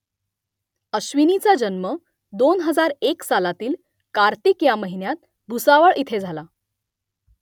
अश्विनीचा जन्म दोन हजार एक सालातील कार्तिक ह्या महिन्यात भुसावळ इथे झाला